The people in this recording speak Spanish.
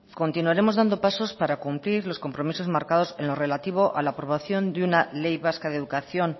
continuaremos dando pasos para cumplir los compromisos marcados en lo relativo a la aprobación de una ley vasca de educación